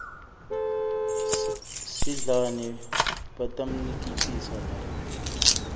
sidlani batammikisa lapha